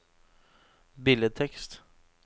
billedtekst